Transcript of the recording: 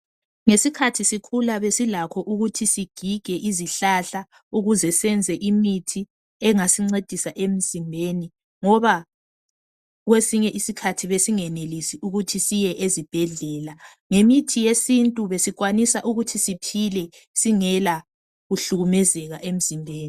Ngesikhathi sikhula besilakho ukuthi sigige izihlahla ukuze senze imithi engasinceda emzimbeni ngoba kwesinye isikhathi besingenelisi ukuthi siye ezibhedlela. Ngemithi yesintu besikwanisa ukuthi siphile singela kuhlukumezeka emzimbeni.